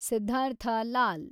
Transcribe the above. Siddhartha Lal